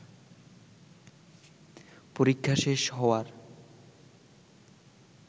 পরীক্ষা শেষ হওয়ার